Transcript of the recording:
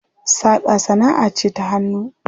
Saƙa sanaʼa ce ta hannu.